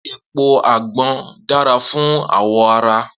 Epo agbon dara fun awọ ara.